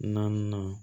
Naaninan